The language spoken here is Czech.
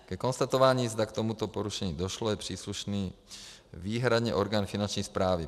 Ke konstatování, zda k tomuto porušení došlo, je příslušný výhradně orgán Finanční správy.